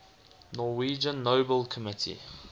norwegian nobel committee